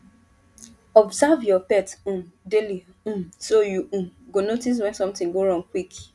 observe your pet um daily um so you um go notice when something wrong quick